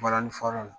Balani fɔla la